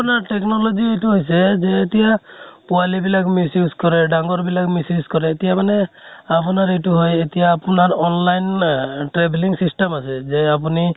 মানে technology এইটো হৈছে, এতিয়া পোৱালী বিলাক miss use কৰে, ডাঙৰ বিলাক miss use কৰে এতিয়া মানে আপোনাৰ এইটো হয় এতিয়া আপোনাৰ online আহ travelling system আছে। যে আপোনি